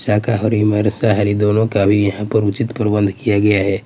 शाकाहारी मांसाहारी दोनों का यहाँ पर उचित प्रबंध किया गया हैं।